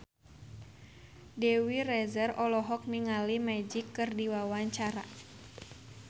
Dewi Rezer olohok ningali Magic keur diwawancara